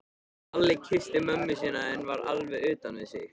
Lalli kyssti mömmu sína en var alveg utan við sig.